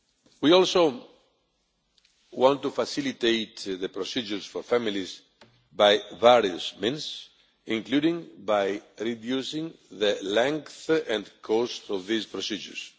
We also want to facilitate the procedures for families by various means including by reducing the length and cost of these procedures.